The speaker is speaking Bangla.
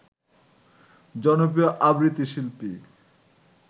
জনপ্রিয় আবৃত্তি শিল্পী